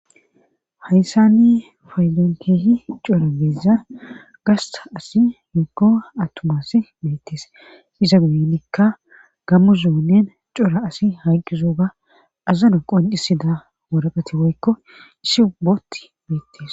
hayssani fayzonkeehi cora beeza gasta asi huko attumass beettees iza guyinikka gammu zoonen cora asi hayqqizoga azana qoncisida woraqati woykko issi ubboti beettes